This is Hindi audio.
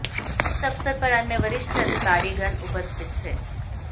इस अवसर पर अन्य वरिष्ठ अधिकारीगण उपस्थित थे